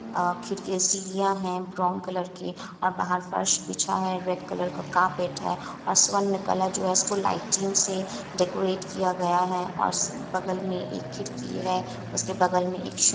आखिर यह सीढ़ियां है ब्राउन कलर की और बाहर फर्श बिछा है रेड कलर का कारपेट है और स्वर्ण कलर जो है उसको लाइटिंग से डेकोरेट किआ गया है और स बगल मे एक खिड़की है उसके बगल मे एक --